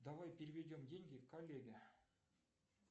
давай переведем деньги коллеге